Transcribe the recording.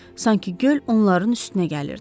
Sanki göl onların üstünə gəlirdi.